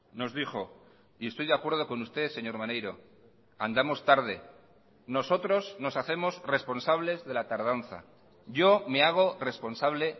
nos dijo y estoy de acuerdo con usted señor maneiro andamos tarde nosotros nos hacemos responsables de la tardanza yo me hago responsable